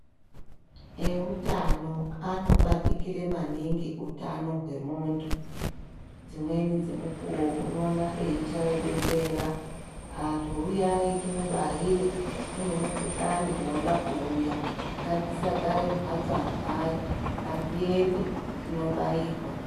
E utano ano batikire maningi hutano hwe muntu dzimweni dze mukuwo unoona eyi chaye bembera antu huyai timubaire kune mu kuhlani woda kuuya ngatisa gare mu mbatso antu ngatiende tinobairwa.